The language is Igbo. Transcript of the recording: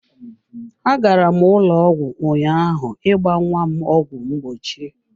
Agara m ụlọ ọgwụ ụnyaahụ ịgba nnwa m ọgwụ mgbochi.